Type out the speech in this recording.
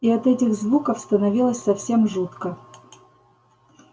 и от этих звуков становилось совсем жутко